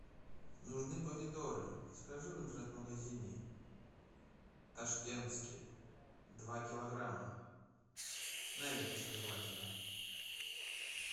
нужны помидоры закажи в интернет магазине ташкентские два килограмма на веточке желательно